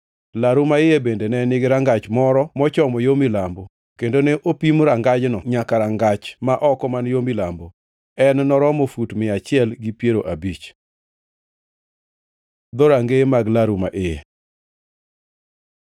Laru ma iye bende ne nigi rangach moro mochomo yo milambo, kendo ne opimo rangajni nyaka rangach ma oko man yo milambo. En noromo fut mia achiel gi piero abich. Dhorangeye mag laru ma iye